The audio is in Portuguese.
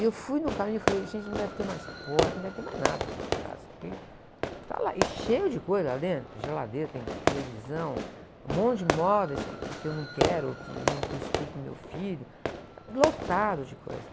E eu fui no caminho e falei, gente, não deve ter mais porta, não deve ter mais nada lá na casa, porque está lá, e cheio de coisa lá dentro, geladeira, tem televisão, um monte de imóveis que, que, que eu não quero, que iam para o estúdio do meu filho, lotado de coisa.